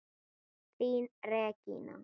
Þín Regína.